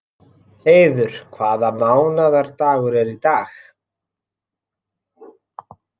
Heiður, hvaða mánaðardagur er í dag?